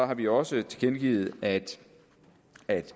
har vi også tilkendegivet at